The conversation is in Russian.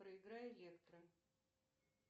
проиграй электро